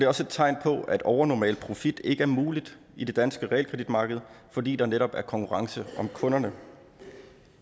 også et tegn på at en overnormal profit ikke er mulig i det danske realkreditmarkedet fordi der netop er konkurrence om kunderne